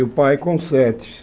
E o pai com sete.